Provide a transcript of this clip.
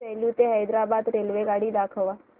सेलू ते हैदराबाद रेल्वेगाडी दाखवा